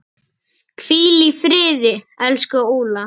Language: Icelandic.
Hvíl í friði, elsku Óla.